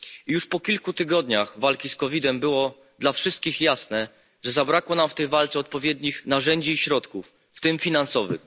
Już po kilku tygodniach walki z COVID 19 było dla wszystkich jasne, że zabrakło nam w tej walce odpowiednich narzędzi i środków, w tym finansowych.